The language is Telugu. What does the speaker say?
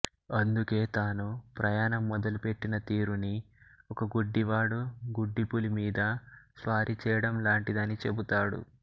అందుకే తాను ప్రయాణం మొదలుపెట్టిన తీరుని ఒక గుడ్డివాడు గుడ్డిపులి మీద స్వారీ చేయడంలాంటిదని చెబుతాడు